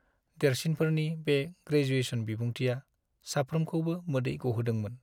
देरसिनफोरनि बे ग्रेजुएशन बिबुंथिआ साफ्रोमखौबो मोदै ग'होदोंमोन।